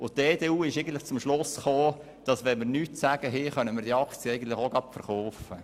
Die EDU kam zum Schluss, dass wir diese Aktien auch gleich verkaufen können, wenn wir nichts zu sagen haben.